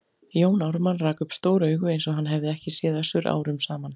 Jón Ármann rak upp stór augu eins og hann hefði ekki séð Össur árum saman.